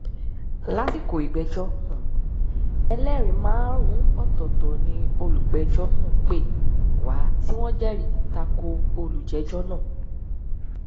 lásìkò ìgbẹjọ um ẹlẹrìí márùnún ọtọtọ ni olùpẹjọ um pè wá tí wọn jẹrìí ta ko olùjẹjọ náà